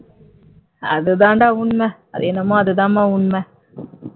அது தாண்டா உண்மை அது என்னவோ அதுதான் உண்மை